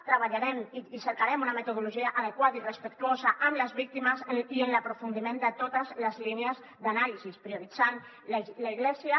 treballarem i cercarem una metodologia adequada i respectuosa amb les víctimes i en l’aprofundiment de totes les línies d’anàlisi prioritzant l’església